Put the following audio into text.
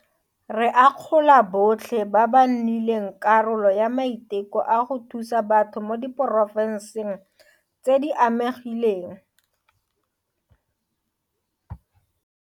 Re akgola botlhe ba ba nnileng karolo ya maiteko a go thusa batho mo diporofenseng tse di amegileng.